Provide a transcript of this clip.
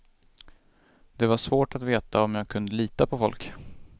Det var svårt att veta om jag kunde lita på folk.